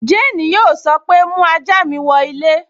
Jane yóò sọ pé, 'mú ajá mi wọ ilé'